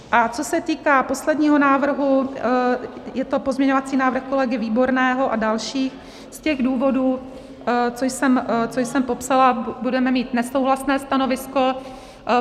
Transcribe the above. A co se týká posledního návrhu, je to pozměňovací návrh kolegy Výborného a dalších, z těch důvodů, co jsem popsala, budeme mít nesouhlasné stanovisko.